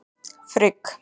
Frigg